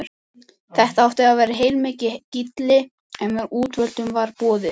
Þetta átti að vera heilmikið gilli, bara útvöldum var boðið.